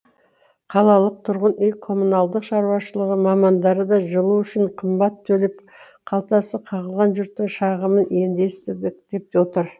қалалық тұрғын үй коммуналдық шаруашылығы мамандары да жылу үшін қымбат төлеп қалтасы қағылған жұрттың шағымын енді естідік деп отыр